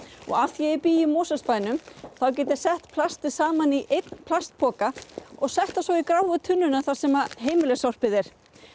af því að ég bý í Mosfellsbænum þá get ég sett plastið saman í einn plastpoka og sett það svo í gráu tunnuna þar sem heimilissorpið er